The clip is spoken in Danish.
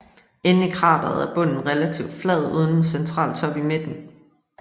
Inden i krateret er bunden relativt flad uden en central top i midten